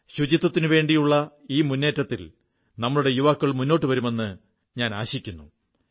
സ്വച്ഛതയ്ക്കുവേണ്ടിയുള്ള ഈ മുന്നേറ്റത്തിൽ നമ്മുടെ യുവാക്കൾ മുന്നോട്ടു വരുമെന്ന് ഞാൻ ആശിക്കുന്നു